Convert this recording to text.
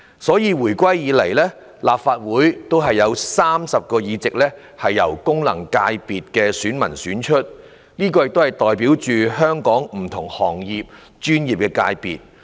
所以，自回歸以來，立法會有30個議席由功能界別的選民選出，代表香港不同行業、專業界別。